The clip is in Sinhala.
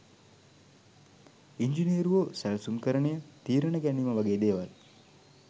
ඉංජිනේරුවෝ සැලසුම්කරණය තීරණ ගැනීම වගේ දේවල්